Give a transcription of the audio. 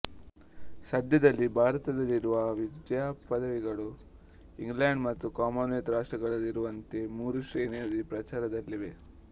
ಸದ್ಯದಲ್ಲಿ ಭಾರತದಲ್ಲಿರುವ ವಿದ್ಯಾಪದವಿಗಳು ಇಂಗ್ಲೆಂಡ್ ಮತ್ತು ಕಾಮನ್ವೆಲ್ತ್ ರಾಷ್ಟ್ರಗಳಲ್ಲಿರುವಂತೆ ಮೂರು ಶ್ರೇಣಿಯಲ್ಲಿ ಪ್ರಚಾರದಲ್ಲಿವೆ